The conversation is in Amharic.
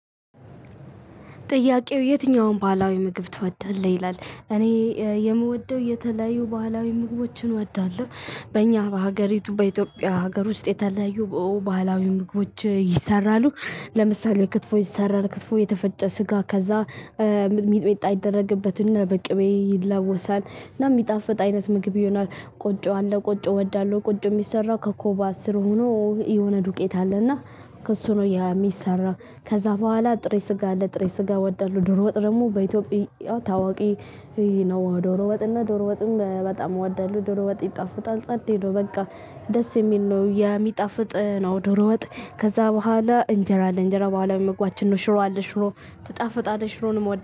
ጥያቄው የትኛውም ባህላዊ ምግብ ትወዳለህ? ይላል እኔ የምወደው የተለያዩ ባህላዊ ምግቦችን እወዳለሁ በእኛ በሀገሪቱ በኢትዮጵያ ሀገር ውስጥ የተለያዩ ባህላዊ ምግቦች ይሰራሉ። ለምሳሌ ክትፎ ይሰራል ክትፎ የተፈጨ ስጋ ከዛ ሚጥሚጣ ይደረግበትና በቅቤ ይለወሳል እና የሚጣፍጥ አይነት ምግብ ይሆናል። ቆጮ አለ ቆጮ እወዳለሁ ቆጮ የሚሰራው ከኮባ ስር ሆኖ የሆነ ዱቄት አለና ከእሱ ነው የሚሰራ። ከዛ በኋላ ጥሬ ስጋ አለ ጥሬ ስጋ ወዳለሁ ዶሮ ወጥ ደግሞ በኢትዮጵያ ታዋቂ። ይሄ ነው ዶሮ ወጥ እና ዶሮ ወጥም በጣም ወዳለሁ ዶሮ ወጥ ይጣፍጣል ጸዴ ነው በቃ ደስ የሚል ነው የሚጣፍጥ ነው ዶሮ ወጥ። ከዛ በኋላ እንጀራ አለ እንጀራ የባህል ምግባችን ነው ሽሮ አለ ሽሮ ትጣፍጣለሽ ሽሮንም